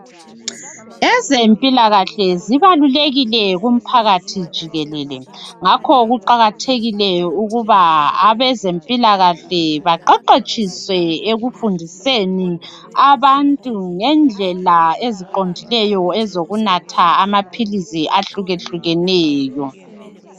Ezempilakahle zibalulekile kumphakathi jikelele. Ngakho kuqakathekile ukuba abezempilakahle baqeqetshiswe ekufundiseni abantu ngendlela zokunatha amaphilisi ahlukahlukeneyo.